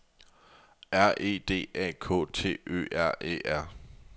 R E D A K T Ø R E R